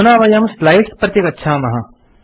अधुना वयं स्लाइड्स् प्रति गच्छामः